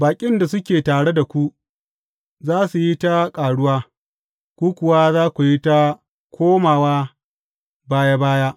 Baƙin da suke tare da ku, za su yi ta ƙaruwa, ku kuwa za ku yi ta komawa baya baya.